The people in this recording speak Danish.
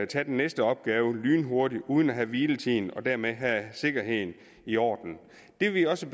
tage den næste opgave lynhurtigt uden at tage hviletiden og dermed have sikkerheden i orden det vi også